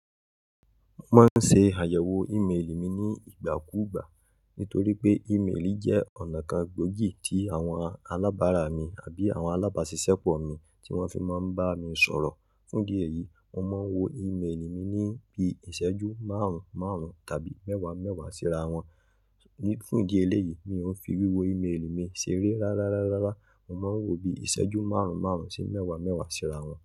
Mo máa ń ṣe àyẹ̀wò ìméèlì mi ní ìgbà kú gbà. Nítorí pé ìméèlì jẹ́ ọ̀nà kan gbòógì tí àwọn alábàrá mi àbí àwọn alábàáṣiṣẹ́ pọ̀ mi tí wọ́n fi máa ń bá mi sọ̀rọ̀. Fún idi eyì, mo máa ń wo ìméèlì mi ní bí iṣẹ́jú márùn márùn tàbí mẹ́wàá mẹ́wàá síra wọn. Ní-- fún idi eléyìí, mi ò fi wí wo ìméèlì mi ṣeré rárárárára. Mo máa ń wo bí iṣẹ́jú márùn márùn sí mẹ́wàá mẹ́wàá síra wọn.